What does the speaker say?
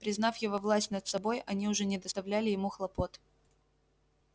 признав его власть над собой они уже не доставляли ему хлопот